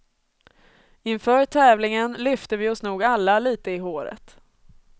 Inför tävlingen lyfte vi oss nog alla lite i håret.